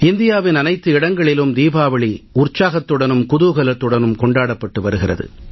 இந்தியாவின் அனைத்து இடங்களிலும் தீபாவளி உற்சாகத்துடனும் குதூகலத்துடனும் கொண்டாடப்பட்டு வருகிறது